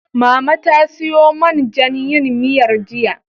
Mama ta siyo man jan yin miyar, jiya.